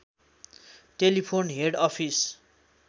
telephone head office